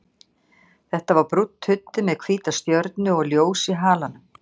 Þetta var brúnn tuddi með hvíta stjörnu og ljós í halanum.